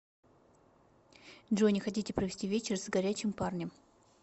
джой не хотите провести вечер с горячем парнем